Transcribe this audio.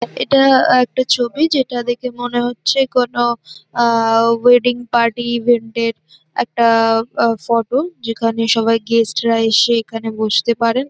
এটা একটা ছবি যেটা দেখে মনে হচ্ছে কোন আওয়েডিং পার্টি ইভেন্ট -এর একটা আ ফটো যেখানে সবাই গেস্ট -রা এসে এখানে বসতে পারেন।